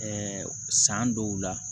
san dɔw la